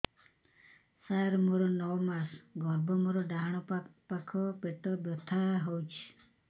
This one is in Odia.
ସାର ମୋର ନଅ ମାସ ଗର୍ଭ ମୋର ଡାହାଣ ପାଖ ପେଟ ବଥା ହେଉଛି